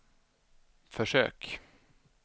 försök